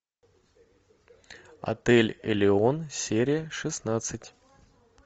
отель элеон серия шестнадцать